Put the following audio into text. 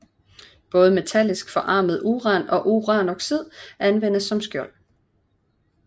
Både metallisk forarmet uran og uranoxid anvendes som skjold